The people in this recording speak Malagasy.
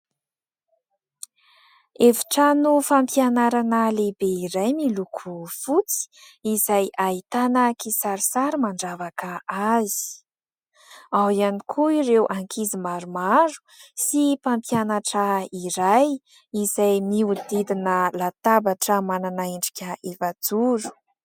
Efitrano fampianarana lehibe iray miloko fotsy, izay ahitana kisarisary mandravaka azy, ao ihany koa ireo ankizy maromaro sy mpampianatra iray izay miodidina latabatra manana endrika efajoro.